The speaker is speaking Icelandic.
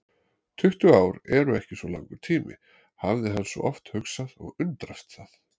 Tuttugu ár eru ekki svo langur tími, hafði hann svo oft hugsað og undrast það.